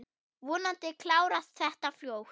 Vonandi klárast þetta fljótt.